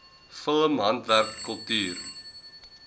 film handwerk kultuur